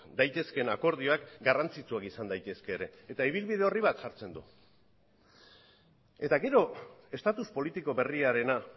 daitezkeen akordioak garrantzitsuak izan daitezke ere eta ibilbide orri bat jartzen da gero estatus politiko berriarena